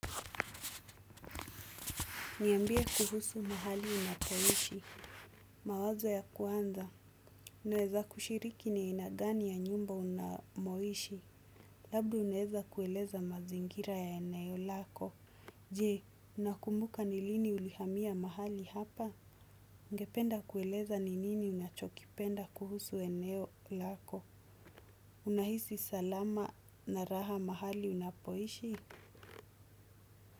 Niambie kuhusu mahali unapoishi. Mawazo ya kuanza. Unaweza kushiriki ni aina gani ya nyumba unamoishi. Labda unaeza kueleza mazingira ya eneo lako. Je, unakumbuka ni lini ulihamia mahali hapa? Ugependa kueleza ni nini unachokipenda kuhusu eneo lako? Unahisi salama na raha mahali unapoishi?